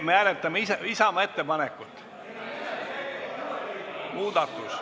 Me hääletame Isamaa ettepanekut.